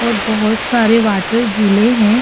और बहुत सारे वाटर झूले है।